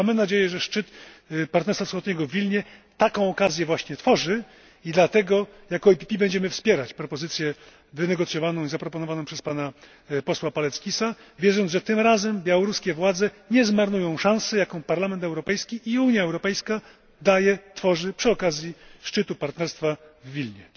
Mamy nadzieję, że szczyt Partnerstwa Wschodniego w Wilnie taką okazję właśnie tworzy i dlatego, jako PPE, będziemy wspierać propozycję wynegocjowaną i zaproponowaną przez pana posła Paleckisa, wierząc, że tym razem białoruskie władze nie zmarnują szansy, jaką Parlament Europejski i Unia Europejska dają, tworzą przy okazji szczytu Partnerstwa Wschodniego w Wilnie.